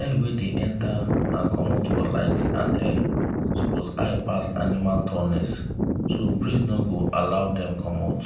air wey dey enter and comot for light and air suppose high pass animal tallness so breeze no go blow dem comut